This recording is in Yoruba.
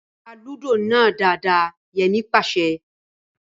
Tá Lúdò náà dáadáa! Yẹmí pàṣẹ